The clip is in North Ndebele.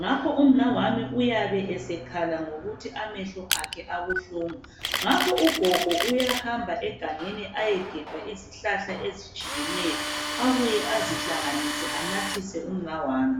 ngakho umnawami uyabe esekhala ngokuthi amehlo akhe abuhlungu. Ngakho ugogo uyahamba egangeni ayegebha izihlahla ezitshiyeneyo abuye azihlanganise anathise umnawami.